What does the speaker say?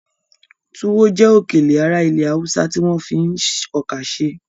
Túwọ́ jẹ́ òkèlè ará ilẹ̀ Haúsá tí wọ́n fi ọkà ṣe